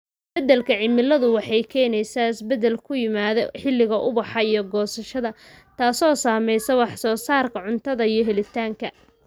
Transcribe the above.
Isbeddelka cimiladu waxay keenaysaa isbeddel ku yimaada xilliga ubaxa iyo goosashada, taasoo saamaysa wax soo saarka cuntada iyo helitaanka.